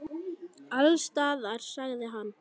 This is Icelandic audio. Alls staðar, sagði hann.